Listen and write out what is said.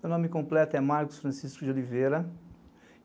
Meu nome completo é Marcos Francisco de Oliveira.